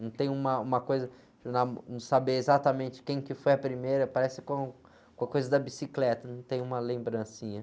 Não tem uma, uma coisa, de, saber exatamente quem que foi a primeira, parece com, com a coisa da bicicleta, não tem uma lembrancinha.